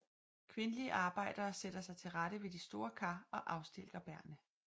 Kvindelige arbejdere sætter sig til rette ved de store kar og afstilker bærrene